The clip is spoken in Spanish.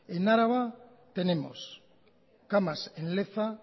en álava tenemos camas en leza